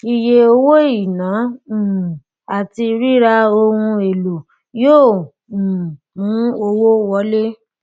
iye owó iná um àti ríra ohun èlò yóò um mu owó wọlé